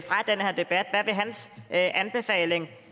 ja